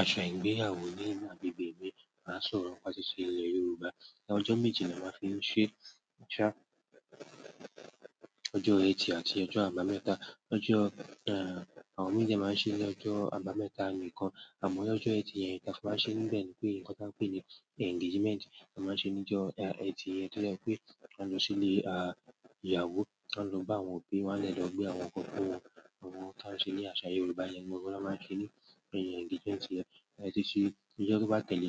Àṣà ìgbéyàwó nínú agbègbè mi máa ń sọ̀rọ̀ láti sí ilẹ̀ Yorùbá. Ọjọ́ méje ni a máa fi ń ṣe. Ọjọ́ ẹtì àti ọjọ́ àbámẹ́ta. Ọjọ́, eh, àwọn mii dẹ maa n ṣe ni ọ́jọ́ àbámẹ́ta nìkan. Àmọ́ lọ́jọ́ ẹtì yẹn, n ta fi máa ń ṣe níbẹ̀ ni pé nǹkan tí a ń pè ní engagement. A máa ń ṣe ní ọjọ́, eh, ẹtì yẹn tó jẹ́ pé wọ́n a lọ sílé, a, ìyàwó, wọ́n a lọ bá àwọn òbí wọn dẹ lọ gbe àwọn nkan fún wọn. Àwọn ohun ta ń ṣe ní àṣà Yorùbá yẹn n gangan ni wọn máa ń ṣe ní ẹ engagement yẹn. Tan ba ti ṣe, ní ọjọ́ tó bá tẹ̀lé,